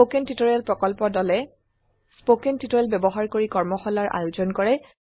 spoken tutorial প্ৰকল্প দলে spoken tutorial ব্যবহাৰ কৰি কৰ্মশালাৰ আয়োজন কৰে